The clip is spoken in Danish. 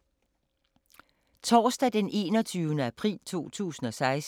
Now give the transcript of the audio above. Torsdag d. 21. april 2016